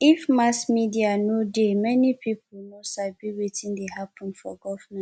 if mass media no dey many people for no sabi wetin dey happen for government